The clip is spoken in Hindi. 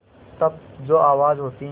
तब जो आवाज़ होती है